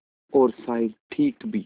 और शायद ठीक भी